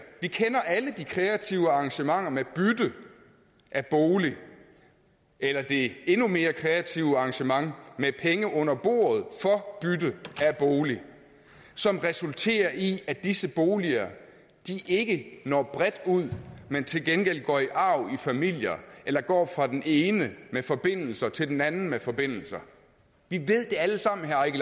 vi kender alle de kreative arrangementer med bytte af bolig eller det endnu mere kreative arrangement med penge under bordet for bytte af bolig som resulterer i at disse boliger ikke når bredt ud men til gengæld går i arv i familier eller går fra den ene med forbindelser til den anden med forbindelser vi ved det alle sammen herre